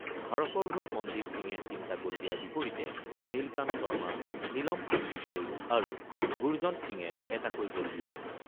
ভাৰতৰ হৈ মনদীপ সিঙে ৩ টা গ'ল দিয়াৰ বিপৰীতে নীলকান্ত শৰ্মা, নীলম সঞ্জীপ জৈস আৰু গুৰজণ্ট সিঙে এটাকৈ গ'ল দিয়ে।